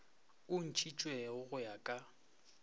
o ntšhitšwego go ya ka